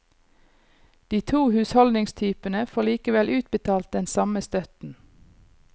De to husholdningstypene får likevel utbetalt den samme støtten.